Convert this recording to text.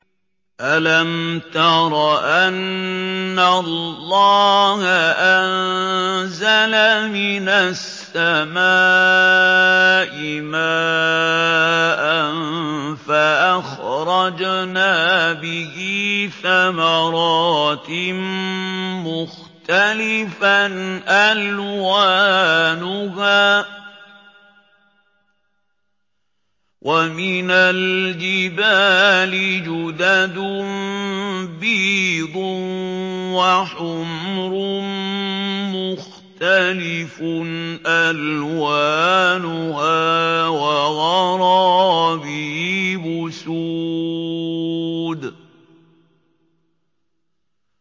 أَلَمْ تَرَ أَنَّ اللَّهَ أَنزَلَ مِنَ السَّمَاءِ مَاءً فَأَخْرَجْنَا بِهِ ثَمَرَاتٍ مُّخْتَلِفًا أَلْوَانُهَا ۚ وَمِنَ الْجِبَالِ جُدَدٌ بِيضٌ وَحُمْرٌ مُّخْتَلِفٌ أَلْوَانُهَا وَغَرَابِيبُ سُودٌ